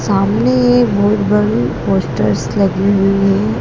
सामने एक बहोत बड़ी पोस्टर्स लगी हुई है।